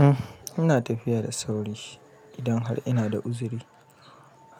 Uhm, ina tafiya da sauri idan har ina da uzuri,